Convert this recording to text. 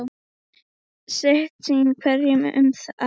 Sitt sýnist hverjum um það.